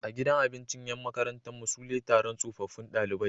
A gidan abinci Yan makarantar mu sule Taron tsofaffun ɗalibai